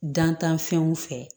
Dantanfɛnw fɛ